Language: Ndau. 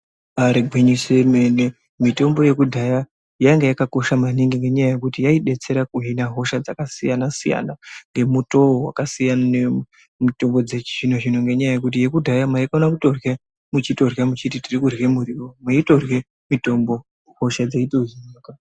Ari gwinyise yomene. Mitombo yakudhaya yainge yakakosha maningi nenyaya yekuti yaidetsera kuhina hosha dzakasiyana siyana ngemutoo wakasiyana siyana. ngemutombo dzechizvino zvino, ngenyaya yekuti yakudhaya maifanira kutorya muchitorya muchiti tiri kudya muriwo muchitorye mitombo hosha dzenyu idzodzo.